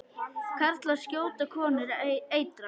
Karlar skjóta, konur eitra.